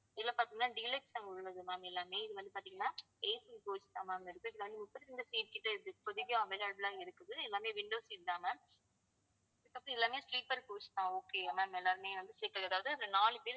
இதுல பாத்தீங்கன்னா deluxe உள்ளது ma'am எல்லாமே இது வந்து பாத்தீங்கன்னா AC coach தான் ma'am இருக்கு இதுல வந்து முப்பத்தி அஞ்சு seat கிட்ட இருக்கு இப்போதைக்கு available ஆ இருக்குது எல்லாமே window seat தான் ma'am இதுக்கப்பறம் எல்லாமே sleeper coach தான் okay அ ma'am எல்லாருமே வந்து sleeper அதாவது அந்த நாலு பேர்